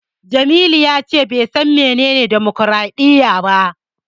Jamilu ya ce bai san menene demokwaraɗiyya ba.